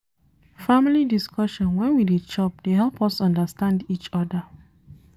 Family discussion wen we dey chop dey help us understand each oda.